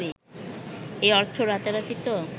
এ অর্থ রাতারাতি তো